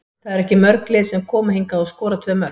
Það eru ekki mörg lið sem koma hingað og skora tvö mörk.